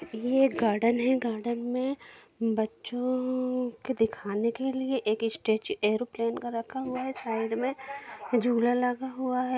यह एक गार्डन है गार्डन में बच्चों के दिखाने के लिए एक स्टेज-- एयरोप्लेन का रखा हुआ है साइड में झुला लगा हुआ है।